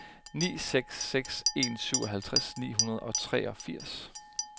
ni seks seks en syvoghalvtreds ni hundrede og treogfirs